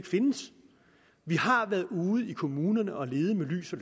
findes vi har været ude i kommunerne og lede med lys og